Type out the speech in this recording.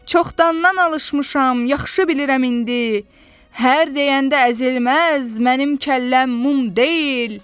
Çoxdandan alışmışam, yaxşı bilirəm indi, hər deyəndə əzilməz mənim kəlləm mum deyil.